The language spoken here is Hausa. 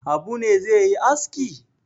Habu ne zai yi aski?